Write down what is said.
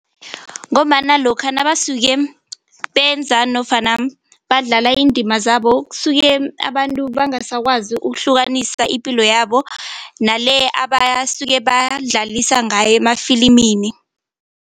Ngombana lokha nabasuke benza nofana badlala iindima zabo kusuke abantu bangasakwazi ukuhlukanisa ipilo yabo nale abasuke badlalisa ngayo emafilimini.